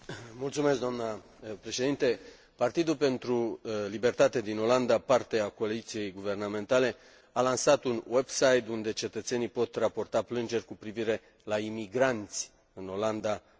Partidul pentru Libertate din Olanda, parte a coaliției guvernamentale, a lansat un website unde cetățenii pot raporta plângeri cu privire la imigranți în Olanda originari din Europa Centrală și de Est.